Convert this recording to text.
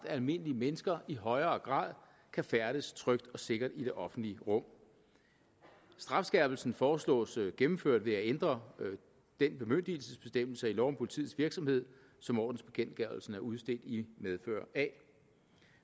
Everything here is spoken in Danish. at almindelige mennesker som i højere grad kan færdes trygt og sikkert i det offentlige rum strafskærpelsen foreslås gennemført ved at ændre den bemyndigelsesbestemmelse i lov om politiets virksomhed som ordensbekendtgørelsen er udstedt i medfør af